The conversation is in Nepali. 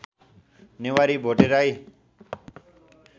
नेवारी भोटे राई